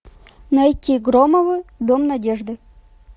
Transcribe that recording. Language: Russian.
найти громовы дом надежды